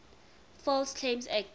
false claims act